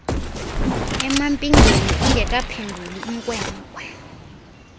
emampingeni ingekaphenduli inkwenkwe